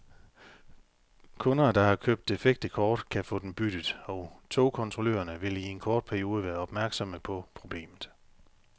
Kunder, der har købt defekte kort, kan få dem byttet, og togkontrollørerne vil i en kort periode være opmærksomme på problemet.